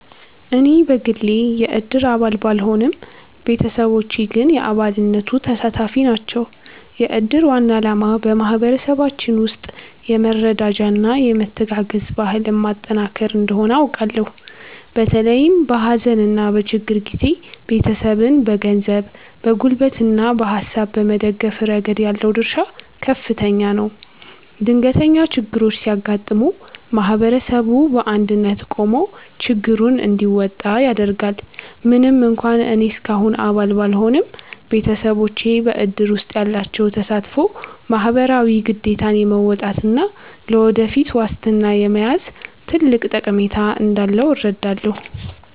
እኔ በግሌ የእድር አባል ባልሆንም፣ ቤተሰቦቼ ግን የአባልነቱ ተሳታፊ ናቸው። የእድር ዋና ዓላማ በማኅበረሰባችን ውስጥ የመረዳጃና የመተጋገዝ ባህልን ማጠናከር እንደሆነ አውቃለሁ። በተለይም በሐዘንና በችግር ጊዜ ቤተሰብን በገንዘብ፣ በጉልበትና በሐሳብ በመደገፍ ረገድ ያለው ድርሻ ከፍተኛ ነው። ድንገተኛ ችግሮች ሲያጋጥሙ ማኅበረሰቡ በአንድነት ቆሞ ችግሩን እንዲወጣ ያደርጋል። ምንም እንኳን እኔ እስካሁን አባል ባልሆንም፣ ቤተሰቦቼ በእድር ውስጥ ያላቸው ተሳትፎ ማኅበራዊ ግዴታን የመወጣትና ለወደፊት ዋስትና የመያዝ ትልቅ ጠቀሜታ እንዳለው እረዳለሁ።